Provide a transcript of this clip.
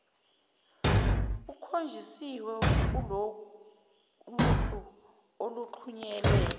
kukhonjisiwe kuloluhlu oluxhunyelwe